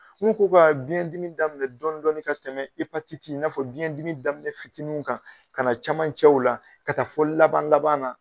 N ko k'o ka biyɛndimi daminɛ dɔɔni dɔɔni ka tɛmɛ epatiti i n'a fɔ biyɛndimi daminɛ fitininw kan ka na camancɛw la ka taa fɔ laban laban na.